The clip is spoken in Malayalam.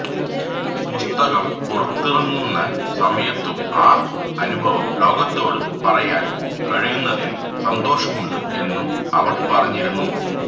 പുസ്തകം പുറത്തിറങ്ങുന്ന സമയത്തും ആ അനുഭവം ലോകത്തോട് പറയാന് കഴിയുന്നതില് സന്തോഷമുണ്ട് എന്നും അവള് പറഞ്ഞിരുന്നു